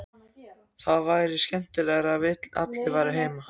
Það væri skemmtilegra að allir væru heima.